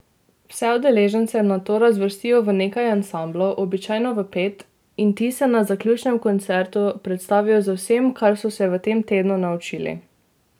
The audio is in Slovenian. Vse udeležence nato razvrstijo v nekaj ansamblov, običajno v pet, in ti se na zaključnem koncertu predstavijo z vsem, kar so se v tem tednu naučili.